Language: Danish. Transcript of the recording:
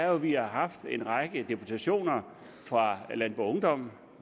at vi har haft en række deputationer fra landboungdom